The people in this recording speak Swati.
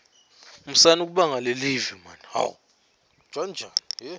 musani kubanga lelive